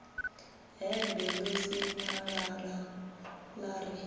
hembe ḽo sinyalala ḽa ri